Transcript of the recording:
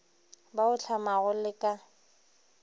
ba o hlamago le ka